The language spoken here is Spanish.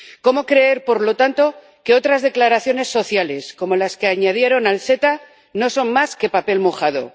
Cómo creer, por lo tanto, que otras declaraciones sociales como las que añadieron al CETA no son más que papel mojado.